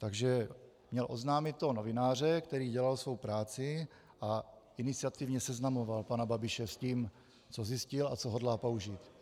Takže měl oznámit toho novináře, který dělal svou práci a iniciativně seznamoval pana Babiše s tím, co zjistil a co hodlá použít.